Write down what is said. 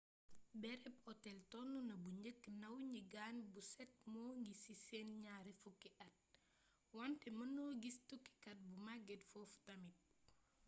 bërëb otel tonuna bu njëkk ndaw ñi gàan bu set moo ngi ci seeni ñaar fukki at wante mënno gis tukkikat bu màgget foofu tamit